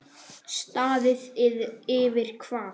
Staðið yfir hvað?